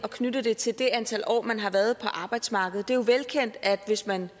at knytte det til det antal år man har været på arbejdsmarkedet det er jo velkendt at hvis man